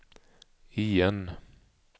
igen